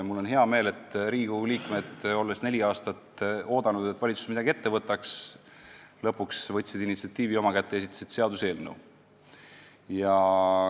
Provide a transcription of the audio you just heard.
Mul on hea meel, et Riigikogu liikmed, olles neli aastat oodanud, et valitsus midagi ette võtab, lõpuks võtsid initsiatiivi oma kätte ja esitasid seaduseelnõu.